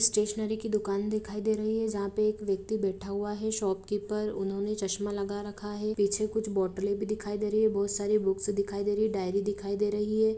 Stationery की दुकान दिखाई दे रही है जहां पर एक व्यक्ति बैठा हुआ है शॉपकीपर उन्होंने चस्मा लगा रखा है पीछे कुछ बोटले भी दिखाई दे रही है बहुत सारी बुक्स दिखाई दे रहे है डायरी दिखाई दे रही है।